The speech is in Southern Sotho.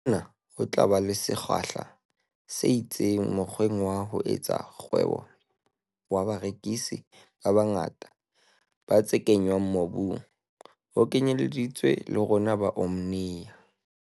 Hona ho tla ba le sekgahla se itseng mokgweng wa ho etsa kgwebo wa barekisi ba bangata ba tse kenngwang mobung ho kenyelleditswe le rona ba Omnia.